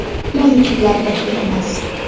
ammo yutuqlar bir xil emas.